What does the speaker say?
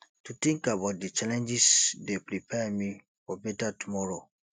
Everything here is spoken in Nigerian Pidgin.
to think about di challenges dey prepare me for beta tomoro